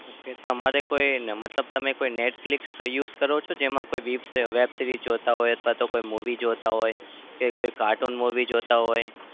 Okay તમારે કોઈ ને મતલબ તમે કોઈ netfilx use કરો છો? જેમાં કોઈ web web series જોતા હોય અથવા તો કોઈ movie જોતા હોય? કે cartoon movie જોતા હોય?